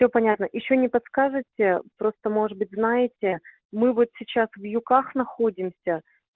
все понятно ещё не подскажете просто может быть знаете мы вот сейчас в юкках находимся